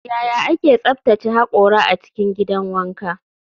Yaya ake tsaftace hakora a cikin gidan wanka?